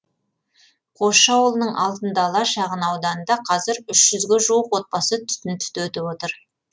қосшы ауылының алтын дала шағын ауданында қазір үш жүзге жуық отбасы түтін түтетіп отыр